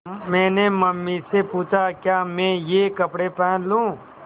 मैंने मम्मी से पूछा क्या मैं ये कपड़े पहन लूँ